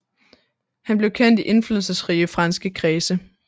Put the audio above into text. Han blev kendt i indflydelsesrige franske kredse